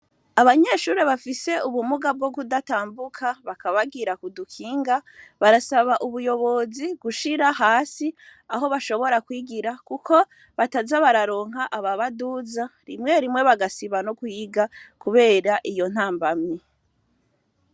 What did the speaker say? Abanyeshuri bafise ubumuga bwo kudatambuka bakabagira kudukinga barasaba ubuyobozi gushira hasi aho bashobora kwigira, kuko bataza bararonka aba baduza rimwe rimwe bagasiba no kwiga, kubera iyo ntambamye.